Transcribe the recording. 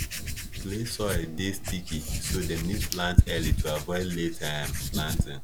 clay soil dey sticky so dem need plant early to avoid late um planting